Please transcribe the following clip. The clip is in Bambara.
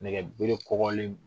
Nɛgɛbere kɔgɔlen